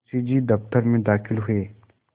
मुंशी जी दफ्तर में दाखिल हुए